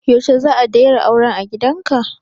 Yaushe za a dayra auren a gidanka?